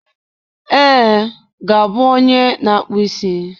Ee, ga-abụ onye na-akpụ isi.